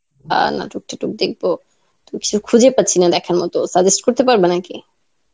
বা নাটক ঠাটক দেখবো. তো কিছু খুঁজে পাচ্ছি না দেখার মতো suggest করতে পারবা নাকি?